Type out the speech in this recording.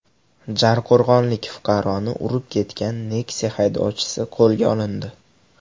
Jarqo‘rg‘onlik fuqaroni urib ketgan Nexia haydovchisi qo‘lga olindi.